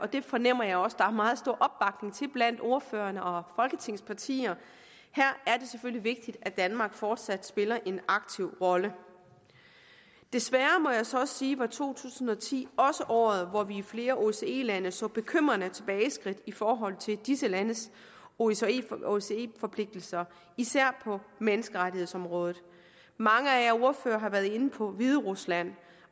det fornemmer jeg også der er meget stor opbakning til blandt ordførerne og folketingets partier her er det selvfølgelig vigtigt at danmark fortsat spiller en aktiv rolle desværre må jeg så også sige var to tusind og ti også året hvor vi i flere osce lande så bekymrende tilbageskridt i forhold til disse landes osce osce forpligtelser især på menneskerettighedsområdet mange af ordførerne har været inde på hviderusland